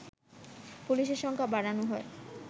পুলিশের সংখ্যা বাড়ানো হয়